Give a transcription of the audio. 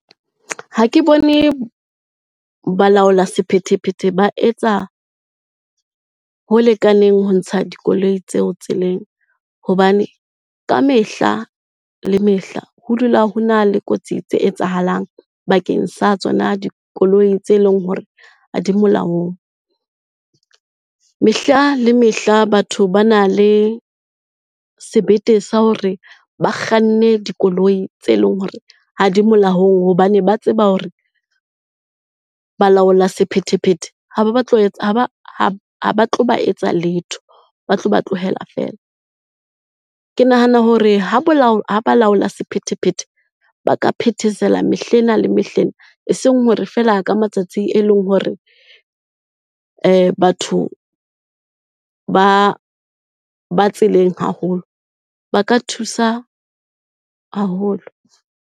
Ha ke bone balaola sephethephethe ba etsa ho lekaneng ho ntsha dikoloi tseo tseleng. Hobane kamehla le mehla ho dula ho na le kotsi tse etsahalang bakeng sa tsona dikoloi tse leng hore ha di molaong. Mehla le mehla, batho ba na le sebete sa hore ba kganne dikoloi tse leng hore ha di molaong hobane ba tseba hore balaola sephethephethe ha ba tlo ba etsa letho, ba tlo ba tlohela fela. Ke nahana hore ha balaola sephethephethe ba ka phethesela mehlena le mehlena, e seng hore fela ka matsatsi e leng hore batho ba ba tseleng haholo, ba ka thusa haholo.